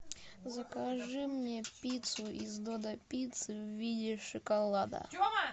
закажи мне пиццу из додо пиццы в виде шоколада